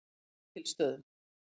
Ketilsstöðum